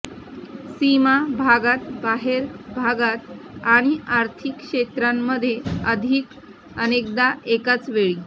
सीमा भागात बाहेर भागात आणि आर्थिक क्षेत्रांमध्ये अधिक अनेकदा एकाचवेळी